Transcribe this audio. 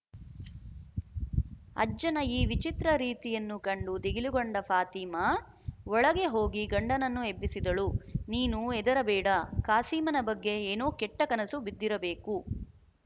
ಅಜ್ಜನ ಈ ವಿಚಿತ್ರ ರೀತಿಯನ್ನು ಕಂಡು ದಿಗಿಲುಗೊಂಡ ಫಾತಿಮಾ ಒಳಗೆ ಹೋಗಿ ಗಂಡನನ್ನು ಎಬ್ಬಿಸಿದಳು ನೀನು ಹೆದರಬೇಡ ಕಾಸೀಮನ ಬಗ್ಗೆ ಏನೋ ಕೆಟ್ಟ ಕನಸು ಬಿದ್ದಿರಬೇಕು